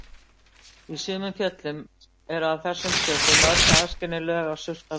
Í sumum fjöllum eru af þessum sökum mörg aðskilin lög af surtarbrandi.